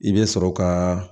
I bɛ sɔrɔ ka